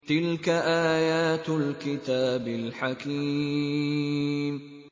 تِلْكَ آيَاتُ الْكِتَابِ الْحَكِيمِ